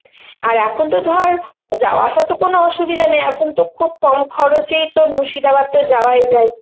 আর এখন তো ধর, যাওয়া আসার তো কোনো অসুবিধা নেই, এখন তো খুব কম খরচেই তোর মুর্শিদাবাদ তো যাওয়াই যায়